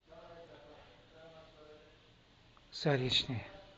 заречный